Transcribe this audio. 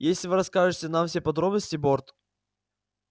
если вы расскажете нам все подробности борт